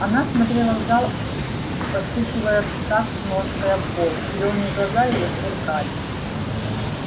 она смотрела в зал постукивая в такт ножкой об пол зелёные глаза её сверкали